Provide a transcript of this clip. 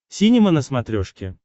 синема на смотрешке